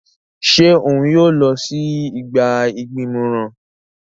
Ṣe òun yóò lọ si igba igbimọran?